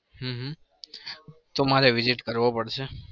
હમ હમ તો મારે visit કરવો પડશે.